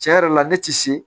Tiɲɛ yɛrɛ la ne tɛ se